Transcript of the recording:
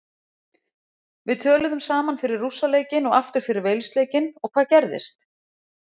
Við töluðum saman fyrir Rússa leikinn og aftur fyrir Wales leikinn og hvað gerðist?